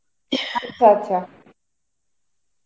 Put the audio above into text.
আচ্ছা আচ্ছা.